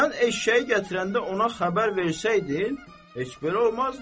Sən eşşəyi gətirəndə ona xəbər versəydin, heç belə olmazdı.